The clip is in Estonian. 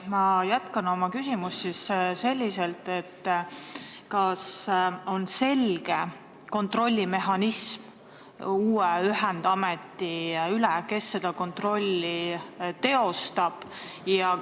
Ma jätkan oma küsimust selliselt: kas on olemas selge uue ühendameti kontrollimise mehhanism ja kes seda kontrolli teostab?